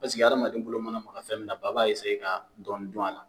adamaden bolo mana maga fɛn min na ba b'a ka dɔɔnin dun a la